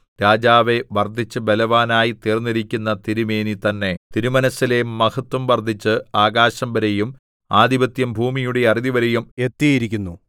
രാജാവേ വർദ്ധിച്ച് ബലവാനായി തീർന്നിരിക്കുന്ന തിരുമേനി തന്നെ തിരുമനസ്സിലെ മഹത്വം വർദ്ധിച്ച് ആകാശംവരെയും ആധിപത്യം ഭൂമിയുടെ അറുതിവരെയും എത്തിയിരിക്കുന്നു